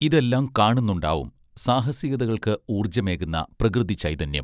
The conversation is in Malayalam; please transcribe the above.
ഇതെല്ലാം കാണുന്നുണ്ടാവും സാഹസികതകൾക്ക് ഊർജ്ജമേകുന്ന പ്രകൃതിചൈതന്യം